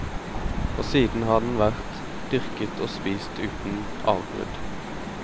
Og siden har den vært dyrket og spist uten avbrudd.